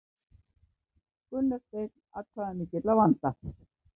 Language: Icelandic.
Gunnar Steinn atkvæðamikill að vanda